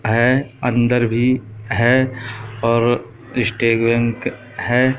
है अंदर भी है और हैं।